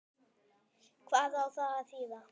Hvað á það að þýða?